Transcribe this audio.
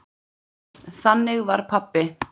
Þannig var pabbi.